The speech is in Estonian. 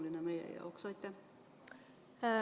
See on meie jaoks tegelikult hästi oluline.